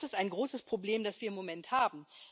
Und das ist ein großes Problem, das wir im Moment haben.